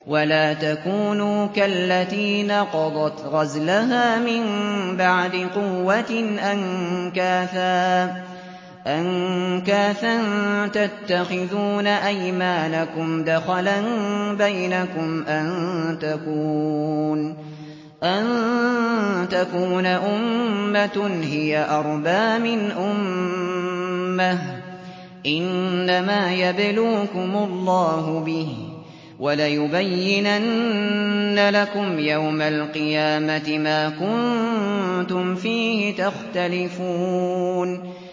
وَلَا تَكُونُوا كَالَّتِي نَقَضَتْ غَزْلَهَا مِن بَعْدِ قُوَّةٍ أَنكَاثًا تَتَّخِذُونَ أَيْمَانَكُمْ دَخَلًا بَيْنَكُمْ أَن تَكُونَ أُمَّةٌ هِيَ أَرْبَىٰ مِنْ أُمَّةٍ ۚ إِنَّمَا يَبْلُوكُمُ اللَّهُ بِهِ ۚ وَلَيُبَيِّنَنَّ لَكُمْ يَوْمَ الْقِيَامَةِ مَا كُنتُمْ فِيهِ تَخْتَلِفُونَ